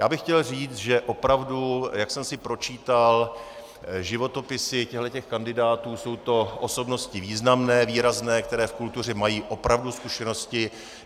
Já bych chtěl říct, že opravdu, jak jsem si pročítal životopisy těchto kandidátů, jsou to osobnosti významné, výrazné, které v kultuře mají opravdu zkušenosti.